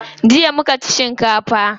Jiya muka ci shinkafa.